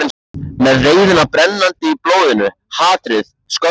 Með reiðina brennandi í blóðinu, hatrið, skömmina.